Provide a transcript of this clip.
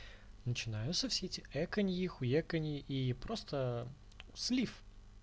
начинаются все эти эканьи хуеканьи и просто слив